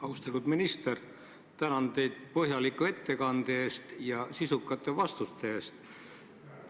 Austatud minister, tänan teid põhjaliku ettekande eest ja sisukate vastuste eest!